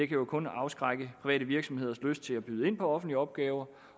kan jo kun afskrække private virksomheders lyst til at byde ind på offentlig opgave